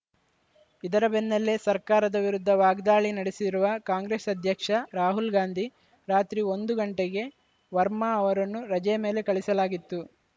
ಇದರ ಬೆನ್ನಲ್ಲೇ ಸರ್ಕಾರದ ವಿರುದ್ಧ ವಾಗ್ದಾಳಿ ನಡೆಸಿರುವ ಕಾಂಗ್ರೆಸ್‌ ಅಧ್ಯಕ್ಷ ರಾಹುಲ್‌ ಗಾಂಧಿ ರಾತ್ರಿ ಒಂದು ಗಂಟೆಗೆ ವರ್ಮಾ ಅವರನ್ನು ರಜೆಯ ಮೇಲೆ ಕಳಿಸಲಾಗಿತ್ತು